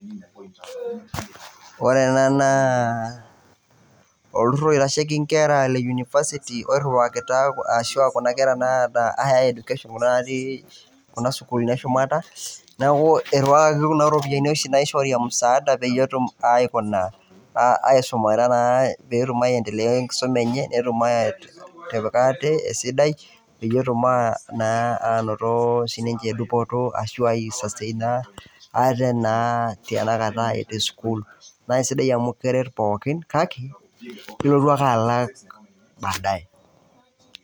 Ore ena naa olturrur oitasheki inkerra e University oirriwakitia arashu kuna kera naata Higher Education kuna naatii sukuuluni eshumata, neeku irriwakaki kuna ropiyiani oshi naishori emusaada peyie etum aikuna aisumata naa pee etum aiendelea enkisuma enye netum aatipik ate esidai, peyie etum aanoto dupoto ai sustain ate naa tanakata etii sukuul naa kesidai amu keret pookin kake ilotu ake alak baadaye.